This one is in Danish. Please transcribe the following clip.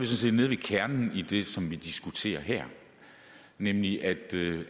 set inde ved kernen i det som vi diskuterer her nemlig at